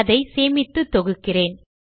அதை சேமித்து தொகுக்கிறேன்